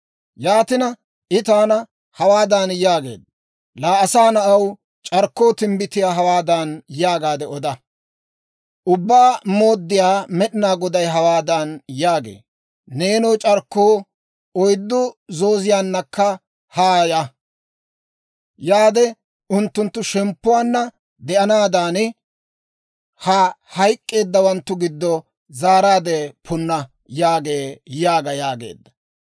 Yaatina, I taana hawaadan yaageedda; «Laa asaa na'aw, c'arkkoo timbbitiyaa hawaadan yaagaade oda; ‹Ubbaa Mooddiyaa Med'inaa Goday hawaadan yaagee; «Neenoo, c'arkkoo, oyddu zooziyaannakka haaya; unttunttu shemppuwaanna de'anaadan, ha hayk'k'eeddawanttu giddo zaaraadde punna» yaagee› yaaga» yaageedda.